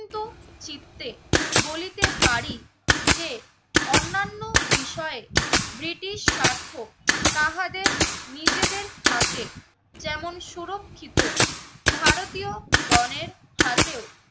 চিত্তে বলিতে পারি যে অন্যান্য বিষয়ে ব্রিটিশ সার্থক তাহাদের নিজেদের হাতে যেমন সুরক্ষিত, ভারতীয় গণের হাতেও